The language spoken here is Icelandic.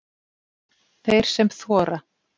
Þeir sem þora